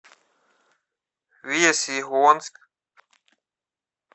весьегонск